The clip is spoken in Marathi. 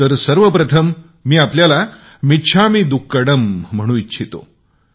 तर सर्वप्रथम मी आपल्याला मिच्छामी दुक्कडम म्हणू इच्छितो